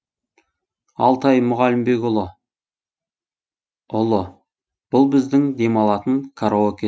алтай мұғалімбекұлы ұлы бұл біздің демалатын караоке